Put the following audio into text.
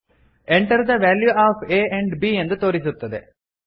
enter the value of a and b ಎಂದು ತೋರಿಸುತ್ತದೆ